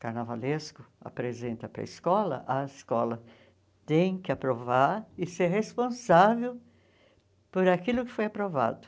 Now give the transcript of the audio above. O carnavalesco apresenta para a escola, a escola tem que aprovar e ser responsável por aquilo que foi aprovado.